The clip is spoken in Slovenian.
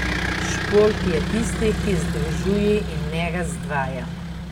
Šport je tisti, ki združuje in ne razdvaja.